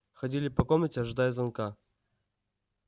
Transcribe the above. ходили по комнате ожидая звонка